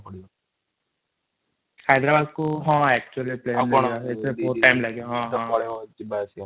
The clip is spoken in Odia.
ହାୟଦରାବାଦ କୁ ପ୍ଲେନ ରେ ହଁ ଏକ୍ଚୁୟାଲି ପ୍ଲେନ ରେ ଯିବା କୁ ପଡିବ ଭଉତ ସମୟ ଲାଗିବା ନହେଲେ ଯିବା ଆସିବା ରେ ସମୟ ପଳେଇବା |